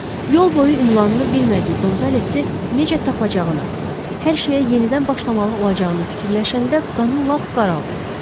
Yol boyu ünvanını bilmədiyi Qonzalesi necə tapacağını, hər şeyə yenidən başlamalı olacağını fikirləşəndə qanı lap qaraldı.